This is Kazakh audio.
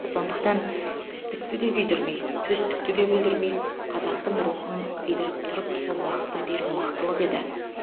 сондықтан істікті де күйдірмей төстікті де бүлдірмей қазақтың рухын сыйдырып тұрып сол уақытта беру мықтылық еді